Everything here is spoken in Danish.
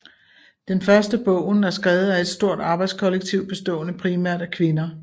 Den første bogen er skrevet af et stort arbejdskollektiv bestående primært af kvinder